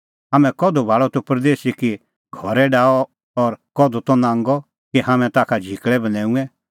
हाम्हैं कधू भाल़अ तूह परदेसी कि घरै डाहअ और कधू त नांगअ कि हाम्हैं ताखा झिकल़ै बन्हैऊंऐं